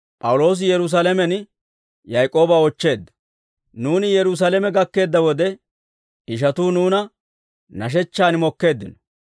Nuuni Yerusaalame gakkeedda wode, ishatuu nuuna nashechchaan mokkeeddino.